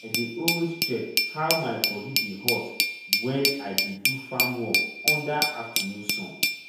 i dey always check how my body dey hot wen i dey do farm work under afternoon sun